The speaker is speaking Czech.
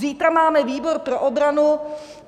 Zítra máme výbor pro obranu.